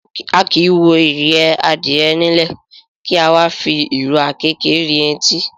A kì í wo ìyẹ́ adìyẹ nílẹ̀, kí a wá fi ìrù àkéékèé rin etí.